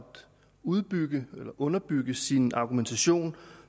udbygge eller underbygge sin argumentation